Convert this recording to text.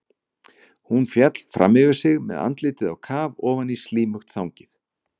Hún féll fram yfir sig með andlitið á kaf ofan í slímugt þangið.